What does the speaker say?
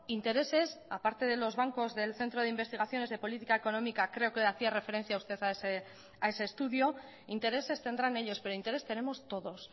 intereses a parte de los bancos del centro de investigaciones de política económica creo que hacía referencia usted a ese estudio intereses tendrán ellos pero interés tenemos todos